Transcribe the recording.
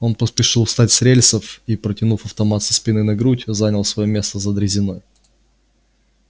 он поспешил встать с рельсов и протянув автомат со спины на грудь занял своё место за дрезиной